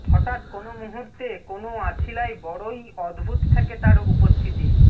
হঠাৎ কোনও মুহূর্তে কোনও আছিলায় বড়ই অদ্ভুত ঠেকে তার উপস্থিতি